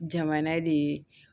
Jamana de ye